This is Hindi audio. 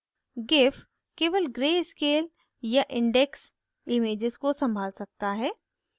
gif केवल ग्रे स्केल या indexed images को संभाल सकता है